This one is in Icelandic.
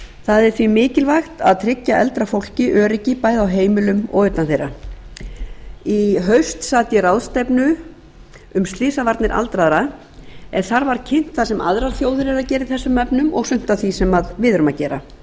það er því mikilvægt að tryggja eldra fólki öryggi bæði á heimilum og utan þeirra í haust sat ég ráðstefnu um slysavarnir aldraðra en þar var kynnt það sem aðrar þjóðir eru að gera í þessum efnum og sumt af því sem við erum að gera